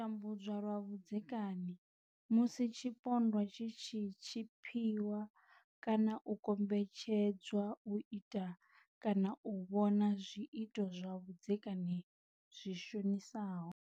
U tambudzwa lwa vhudzekani, musi tshipondwa tshi tshi tshipiwa kana u kombetshedzwa u ita kana u vhona zwiito zwa vhudzekani zwi shonisaho.